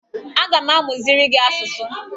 Aga m amụziri gị asụsụ